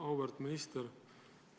Auväärt minister!